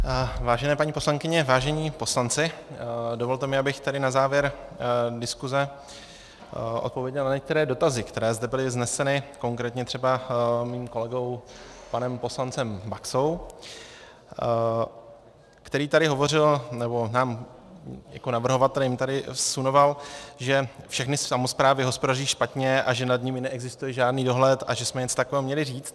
Vážené paní poslankyně, vážení poslanci, dovolte mi, abych tedy na závěr diskuze odpověděl na některé dotazy, které zde byly vzneseny, konkrétně třeba mým kolegou panem poslancem Baxou, který tady hovořil, nebo nám jako navrhovatelům tady vsunoval, že všechny samosprávy hospodaří špatně a že nad nimi neexistuje žádný dohled a že jsme něco takového měli říct.